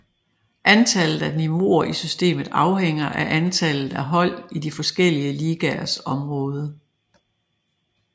Antallet af niveauer i systemet afhænger af antallet af hold i de forskellige ligaers område